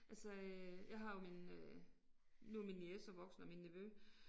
Altså øh jeg har jo min øh nu er min niece så voksen og min nevø